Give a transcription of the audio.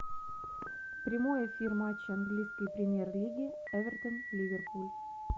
прямой эфир матча английской премьер лиги эвертон ливерпуль